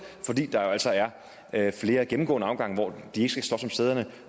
fordi der jo altså er er flere gennemgående afgange hvor de ikke skal slås om sæderne